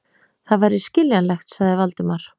Það væri skiljanlegt, sagði Valdimar.